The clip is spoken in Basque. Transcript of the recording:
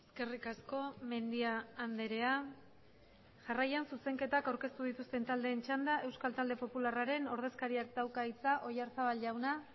eskerrik asko mendia andrea jarraian zuzenketak aurkeztu dituzten taldeen txanda euskal talde popularraren ordezkariak dauka hitza oyarzabal jauna